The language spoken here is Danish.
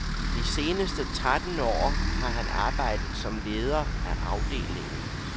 De seneste tretten år har han arbejdet som leder af afdelingen.